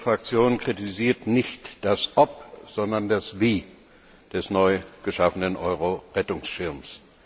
Unsere Fraktion kritisiert nicht das Ob, sondern das Wie des neu geschaffenen Euro Rettungsschirms.